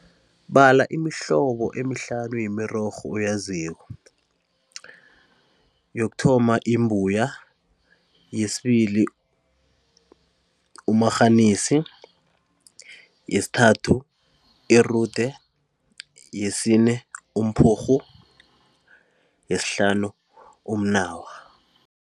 Bala imihlobo emihlanu yemirorho oyaziko. Yokuthoma imbuya, yesibili umarhanisi, yesithathu irude, yesine umphurhu, yesihlanu umnawa.